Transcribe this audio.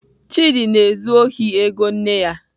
Chidi na-ezu ohi ego nne ya.